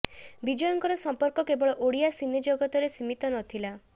ବିଜୟଙ୍କର ସମ୍ପର୍କ କେବଳ ଓଡ଼ିଆ ସିନେ ଜଗତରେ ସୀମିତ ନଥିଲା